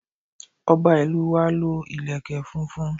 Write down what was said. Ọba ìlú wa lo ìlèkè funfun